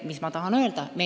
Mida ma tahan öelda?